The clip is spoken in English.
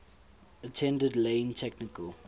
attended lane technical